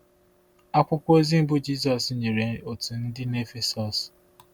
Akwụkwọ ozi mbụ Jizọs nyere òtù dị na Efesọs.